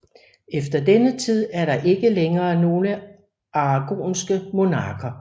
Efter denne tid er der ikke længere nogle aragonske monarker